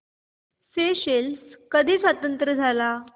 Seychelles कधी स्वतंत्र झाला